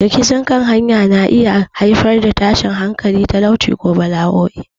Rikicin kan iyaka na iya haifar da tashin hankali, talauci, ko bala'o'i.